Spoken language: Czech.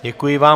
Děkuji vám.